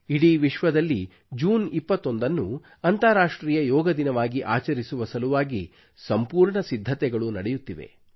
ಇಡೀ ವಿಶ್ವದಲ್ಲಿ ಜೂನ್ 21 ನ್ನು ಅಂತಾರಾಷ್ಟ್ರೀಯ ಯೋಗ ದಿನವಾಗಿ ಆಚರಿಸುವ ಸಲುವಾಗಿ ಸಂಪೂರ್ಣ ಸಿದ್ಧತೆಗಳು ನಡೆಯುತ್ತಿವೆ